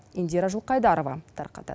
индира жылқайдарова тарқатады